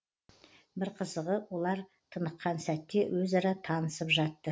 бір қызығы олар тыныққан сәтте өзара танысып жатты